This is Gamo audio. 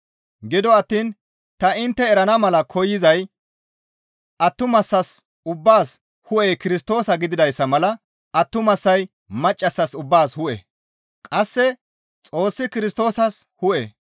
Gido attiin ta intte erana mala koyzay attumasaas ubbaas hu7ey Kirstoosa gididayssa mala attumasay maccas ubbaas hu7e; qasse Xoossi Kirstoosas hu7e.